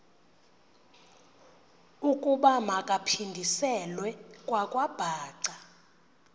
ukuba makaphindiselwe kwakwabhaca